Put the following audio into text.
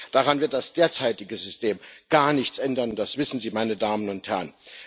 Daran wird das derzeitige System gar nichts ändern und das wissen Sie, meine Damen und Herren.